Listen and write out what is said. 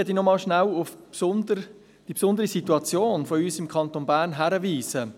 Dennoch möchte ich rasch auf die besondere Situation unseres Kantons Bern hinweisen.